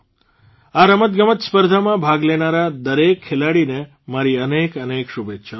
આ રમતગમત સ્પર્ધામાં ભાગ લેનારા દરેક ખેલાડીને મારી અનેક અનેક શુભેચ્છાઓ